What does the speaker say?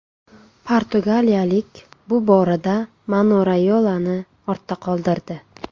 Portugaliyalik bu borada Mino Rayolani ortda qoldirdi.